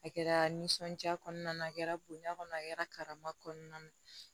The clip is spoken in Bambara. A kɛra nisɔndiya kɔnɔna na a kɛra bonya kɔnɔ a kɛra karama kɔnɔna na